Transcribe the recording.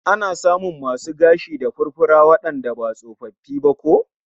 Ana samun masu gashi da furfura wandanda ba tsofaffi ba ko?